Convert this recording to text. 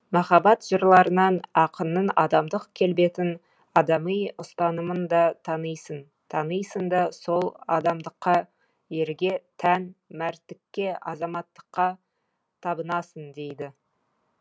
махаббат жырларынан ақынның адамдық келбетін адами ұстанымын да танисың танисың да сол адамдыққа ерге тән мәрттікке азаматтыққа табынасың дейді